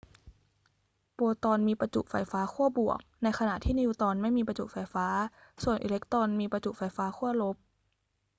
โปรตอนมีประจุไฟฟ้าขั้วบวก ในขณะที่นิวตรอนไม่มีประจุไฟฟ้า ส่วนอิเล็กตรอนมีประจุไฟฟ้าขั้วลบ